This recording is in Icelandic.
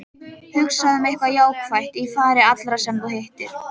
Hugsaðu um eitthvað jákvætt í fari allra sem þú hittir.